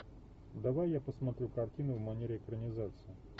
давай я посмотрю картину в манере экранизации